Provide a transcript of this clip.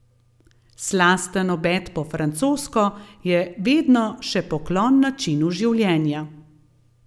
Slasten obed po francosko je vedno še poklon načinu življenja.